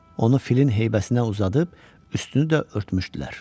Onu filin heybəsinə uzadıb üstünü də örtmüşdülər.